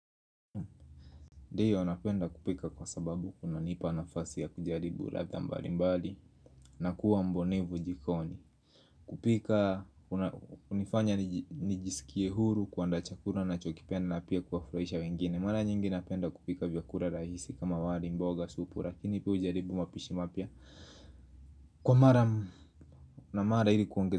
Ndio napenda kupika kwa sababu kunanipa nafasi ya kujaribu ladha mbali mbali na kuwa mbunifu jikoni. Kupika hunifanya nijisikie huru kuandaa chakula nachokipenda na pia kuwafurahisha wengine. Mara nyingi napenda kupika vyakula rahisi kama wali mboga supu lakini pia hujaribu mapishi mapya. Kwa mara na mara ili kuongeza.